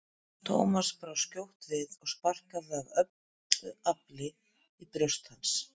Thomas brá skjótt við og sparkaði af öllu afli í brjóst hans.